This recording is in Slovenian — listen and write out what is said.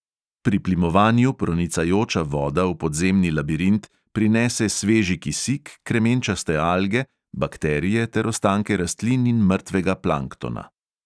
Pri plimovanju pronicajoča voda v podzemni labirint prinese sveži kisik, kremenčaste alge, bakterije ter ostanke rastlin in mrtvega planktona.